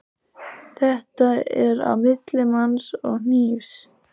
Þetta er á milli manns og hnífs.